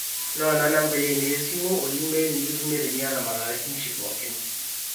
noona nambai aainei esimu o email nikitumie teniata malalamishi pooki